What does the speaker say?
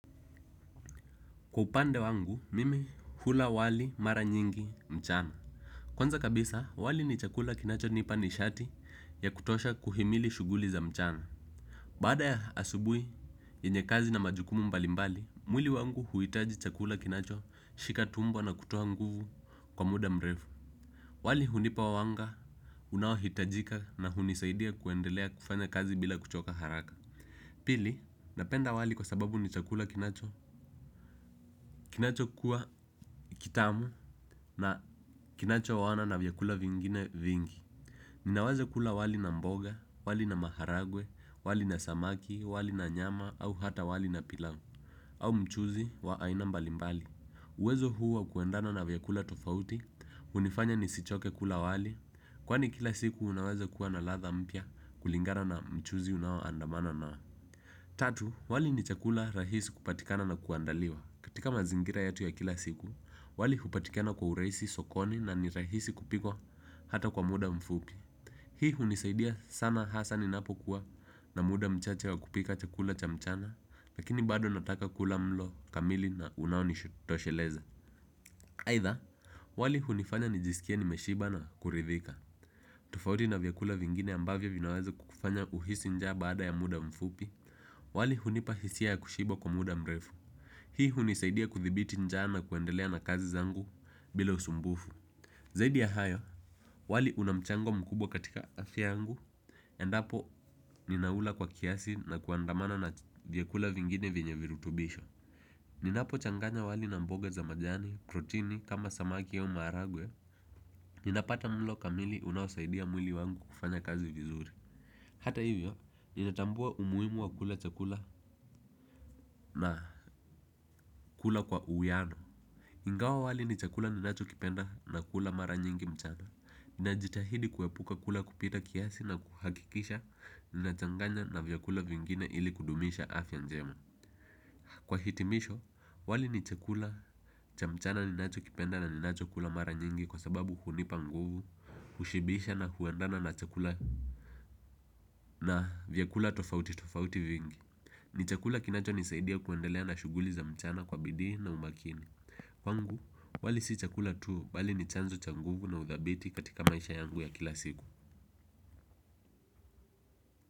Kwa upande wangu mimi hula wali mara nyingi mchana. Kwanza kabisa, wali ni chakula kinacho nipa ni shati ya kutosha kuhimili shuguli za mchana. Bada ya asubui, yenye kazi na majukumu mbalimbali, mwili wangu huitaji chakula kinacho shika tumbo na kutoha nguvu kwa muda mrevu. Wali hunipa wawanga unawahitajika na hunisaidia kuendelea kufanya kazi bila kuchoka haraka. Pili, napenda wali kwa sababu ni chakula kinacho kinacho kuwa kitamu na kinacho wawana na vyakula vingine vingi. Ninawaza kula wali na mboga, wali na maharagwe, wali na samaki, wali na nyama au hata wali na pilau au mchuzi wa ainambalimbali. Uwezo huwa kuendana na vyakula tofauti, unifanya nisichoke kula wali kwani kila siku unawaza kuwa na latha mpya kulingana na mchuzi unawo andamana nao. Tatu, wali ni chakula rahisi kupatikana na kuandaliwa. Katika mazingira yetu ya kila siku, wali hupatikana kwa uraisi sokoni na ni rahisi kupikwa hata kwa muda mfupi. Hii unisaidia sana hasa ni napo kuwa na muda mchache wa kupika chakula cha mchana. Lakini bado nataka kula mlo kamili na unaonishutosheleza. Aitha, wali hunifanya nijisikia ni meshiba na kuridhika. Tofauti na vyakula vingine ambavyo vinaweza kukufanya uhisi njaa baada ya muda mfupi. Wali hunipahisia ya kushiba kwa muda mrefu. Hii hunisaidia kuthibiti nja na kuendelea na kazi zangu bila usumbufu. Zaidi ya hayo, wali unamchango mkubwa katika afya angu. Endapo ninaula kwa kiasi na kuandamana na vyakula vingine venyevirutubisho ninapo changanya wali na mboge za majani, protini kama samaki au maragwe ninapata mlo kamili unawosaidia mwili wangu kufanya kazi vizuri. Hata hivyo, ninatambua umuimu wa kula chakula na kula kwa uyiano. Ingawa wali ni chakula ninacho kipenda na kula mara nyingi mchana ninajitahidi kuwepuka kula kupita kiasi na kuhakikisha ninachanganya na vyakula vingine ili kudumisha afya njema. Kwa hitimisho, wali ni chakula cha mchana ninacho kipenda na ninacho kula mara nyingi kwa sababu hunipa nguvu, ushibisha na huendana na chakula na vyakula tofauti tofauti vingi. Ni chakula kinacho nisaidia kuendelea na shuguli za mchana kwa bidi na umakini. Kwangu, wali si chakula tuo bali ni chanzo cha nguvu na uthabiti katika maisha yangu ya kila siku.